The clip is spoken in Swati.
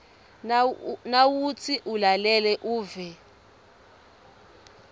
nawutsi ulalele uve